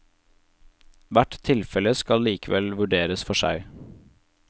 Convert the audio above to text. Hvert tilfelle skal likevel vurderes for seg.